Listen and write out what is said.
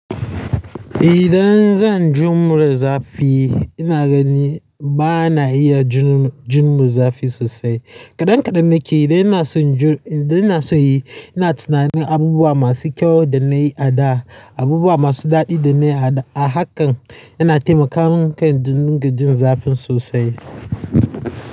Idan zan jima da zafi ina gani ba na iya jin zafi sosai. Kaɗan kaɗan na ke idan ina so yi ina tunanin abubuwa masu kyau da na yi a da, abubuwa masu daɗi da na yi a da. A haka yana taimaka min kan ni ga jin zafin sosai.